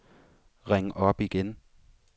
ring op igen